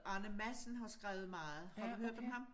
Arne Madsen har skrevet meget har du hørt om ham?